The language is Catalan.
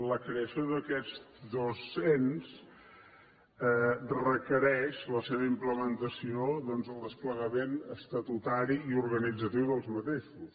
la creació d’aquests dos ens requereix la seva implementació doncs en el desplegament estatutari i organitzatiu d’aquests ens